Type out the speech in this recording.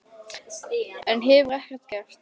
Enn hefur ekkert gerst.